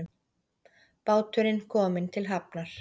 Báturinn kominn til hafnar